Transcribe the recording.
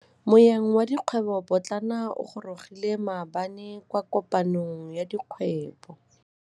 Moêng wa dikgwêbô pôtlana o gorogile maabane kwa kopanong ya dikgwêbô.